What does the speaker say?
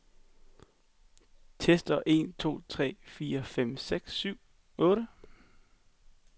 Tester en to tre fire fem seks syv otte.